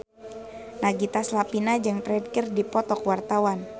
Nagita Slavina jeung Ferdge keur dipoto ku wartawan